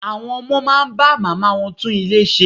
Àwọn ọmọ máa bá màmá wọ́n tún ilé ṣe.